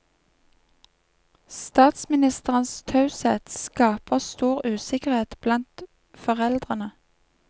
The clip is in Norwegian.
Statsministerens taushet skaper stor usikkerhet blant foreldrene.